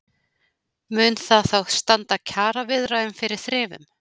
Mun það þá standa kjaraviðræðum fyrir þrifum?